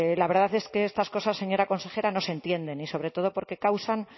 la verdad es que estas cosas señora consejera no se entienden y sobre todo porque causan